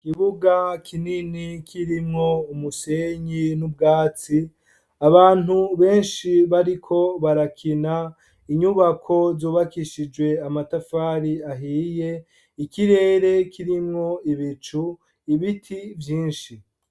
Ikibuga kinini kirimwo umusenyi n' ubwatsi, abantu benshi bariko barakina, inyubako zubakishijwe amatafari ahiye, ikirere kirimwo ibicu, ibiti vyinshi.